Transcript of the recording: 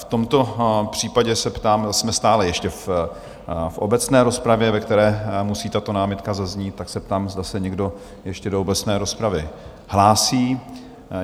V tomto případě se ptám, jsme stále ještě v obecné rozpravě, ve které musí tato námitka zaznít, tak se ptám, zda se někdo ještě do obecné rozpravy hlásí?